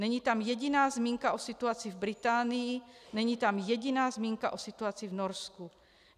Není tam jediná zmínka o situaci v Británii, není tam jediná zmínka o situaci v Norsku.